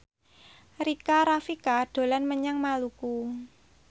Rika Rafika dolan menyang Maluku